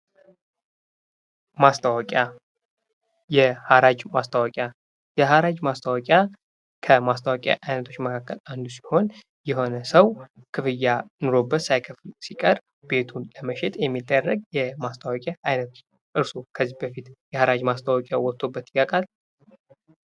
ማስታወቂያ የሐራጅ ማስታወቂያ የሐራጅ ማስታወቂያ ከማስታወቂያ አይነቶች አንዱ ሲሆን የሆነ ሰው ክፍያ ኖሮበት ሳይከፍል ሲቀር ቤቱን ለመሸጥ የሚደረግ የማስታወቂያ አይነት ነው:: እርሶ ከዚ በፊት የሐራጅ ማስታወቂያ ወጥቶቦት ያውቃል?